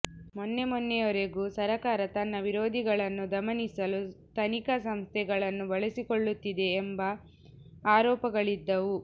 ಮೊನ್ನೆ ಮೊನ್ನೆಯವರೆಗೂ ಸರಕಾರ ತನ್ನ ವಿರೋಧಿಗಳನ್ನು ದಮನಿಸಲು ತನಿಖಾ ಸಂಸ್ಥೆಗಳನ್ನು ಬಳಸಿಕೊಳ್ಳುತ್ತಿದೆ ಎಂಬ ಆರೋಪಗಳಿದ್ದವು